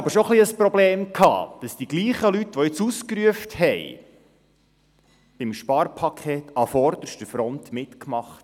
Es bereitet mir schon etwas Probleme, dass dieselben Leute, die jetzt geschimpft haben, beim Sparpaket an vorderster Front mitmachten;